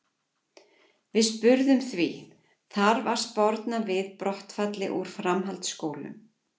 Við spurðum því, þarf að sporna við brottfalli úr framhaldsskólum?